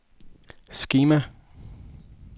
skema